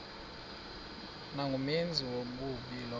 nangumenzi wobubi lowo